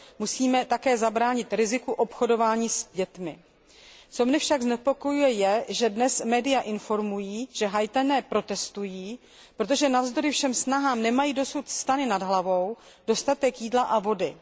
Musíme také zabránit riziku obchodování s dětmi. Co mne však znepokojuje je, že dnes média informují, že Haiťané protestují, protože navzdory všem snahám nemají dosud stany nad hlavou, dostatek jídla a vody.